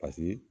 Paseke